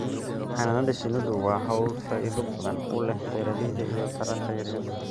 Xannaanada shinnidu waa hawl faa'iido badan u leh beeralayda iyo taranta yar yar.